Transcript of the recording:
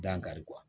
Dan kari